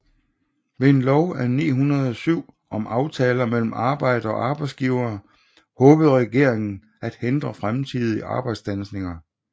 Ved en lov af 1907 om aftaler mellem arbejdere og arbejdsgivere håbede regeringen at hindre fremtidige arbejdsstandsninger